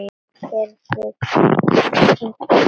Gerður kinkaði kolli.